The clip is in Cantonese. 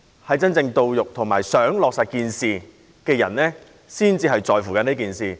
能夠受惠和希望落實建議的人才會在乎這件事。